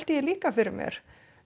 því líka fyrir mér